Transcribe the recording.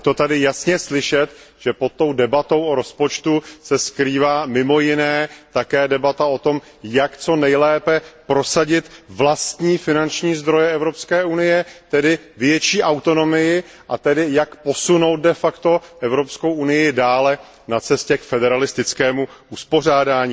Je tady jasně slyšet, že pod debatou o rozpočtu se skrývá mimo jiné také debata o tom, jak co nejlépe prosadit vlastní finanční zdroje Evropské unie, tedy větší autonomii, a jak posunout de facto Evropskou unii dále na cestě k federalistickému uspořádání.